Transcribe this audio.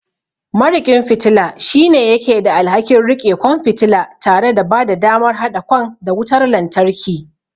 Mariƙin fitila shine yake da alhakin riƙe kwan fitila tare da bada damar haɗa kwan da wutar lantarki.